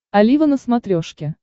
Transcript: олива на смотрешке